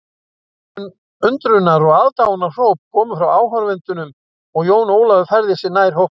Undrunar og aðdáunarhróp komu frá áhorfendunum og Jón Ólafur færði sig nær hópnum.